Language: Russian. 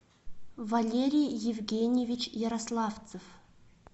валерий евгеньевич ярославцев